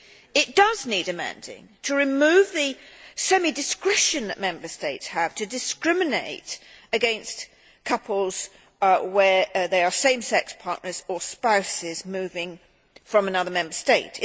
It does need amending, to remove the semi discretion that Member States have to discriminate against couples where they are same sex partners or spouses moving from another Member State.